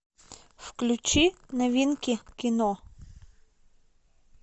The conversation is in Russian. включи новинки кино